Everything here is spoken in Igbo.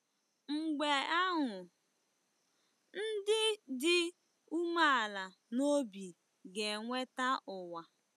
Mgbe ahụ, “ndị dị umeala n’obi ga-enweta ụwa.”